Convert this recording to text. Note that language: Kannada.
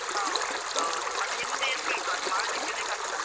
ಹೌದು ಮತ್ತೆ ಹಿಂದೆ ಇರ್ಬೇಕು ಅದು ಮಾಡ್ಲಿಕ್ಕೇನೆ ಕಷ್ಟ.